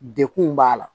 Dekun b'a la